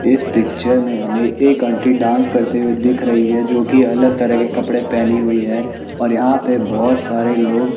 इस पिक्चर में हमें एक आंटी डांस करते हुए दिख रही है जो की अलग तरह के कपड़े पहनी हुई है और यहां पर बहोत सारे लोग--